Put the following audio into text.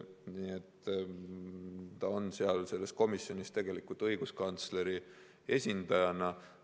Ta on selles komisjonis tegelikult õiguskantsleri esindajana.